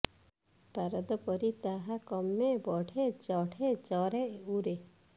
ପାରଦ ପରି ତାହା କମେ ବଢ଼େ ଚଢ଼େ ଚରେ ଉରେ